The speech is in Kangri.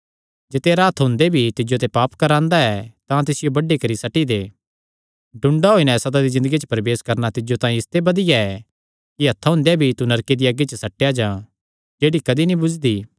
जे तेरा हत्थ हुंदे भी तिज्जो ते पाप करांदा ऐ तां तिसियो बड्डी करी सट्टी दे डुडां होई नैं सदा दी ज़िन्दगी च प्रवेश करणा तिज्जो तांई इसते बधिया ऐ कि हत्थां हुंदेया भी तू नरके दिया अग्गी च सट्टेया जां जेह्ड़ी कदी नीं बुझदी